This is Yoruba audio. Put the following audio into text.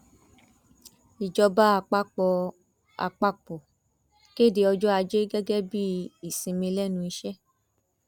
ìjọba àpapọ àpapọ kéde ọjọ ajé gẹgẹ bíi ìsinmi lẹnu iṣẹ